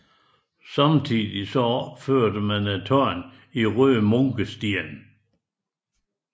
Samtidig opførtes tårnet i røde munkesten